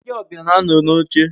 Ndi obia na ano n'oche